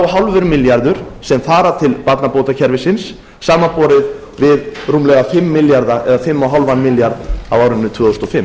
og hálfur milljarður sem fara til barnabótakerfisins samanborið við fimm og hálfan milljarð á árinu tvö þúsund og fimm